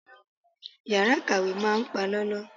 Yàrá ìkàwé máa palọ́lọ́.